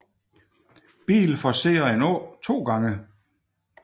Bil forcerer en å to gange